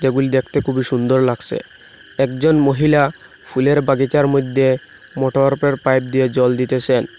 ফুল দেখতে খুবই সুন্দর লাগসে একজন মহিলা ফুলের বাগিচার মইধ্যে মোটর পাইপ দিয়ে জল দিতেসেন।